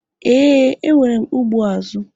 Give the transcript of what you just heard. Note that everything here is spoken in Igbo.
Ee, enwere ụgbọ azụ